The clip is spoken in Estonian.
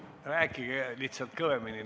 Palun rääkige veidi kõvemini.